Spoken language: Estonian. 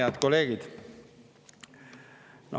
Head kolleegid!